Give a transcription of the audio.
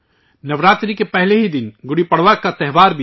نوراترے کے پہلے ہی دن گڈی پروا کا تہوار بھی ہے